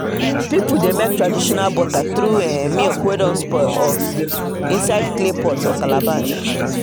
people dey make traditional butter through um milk wey don spoil inside clay pot or calabash